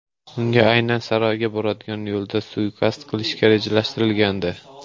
Unga aynan saroyga boradigan yo‘lda suiqasd qilish rejalashtirilgandi.